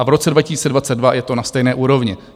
A v roce 2022 je to na stejné úrovni.